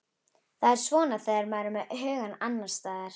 Það er svona þegar maður er með hugann annars staðar.